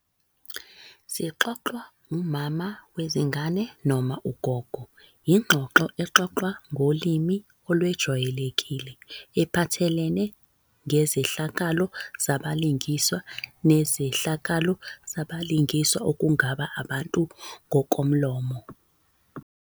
Zixoxwa umama wezingane noma ugogo. yingxoxo exoxwa ngolimi olwejwayelekile ephathelene ngezehlakalo zabalingiswa nezehlakalo zabalingiswa okungaba abantu ngokomlomo.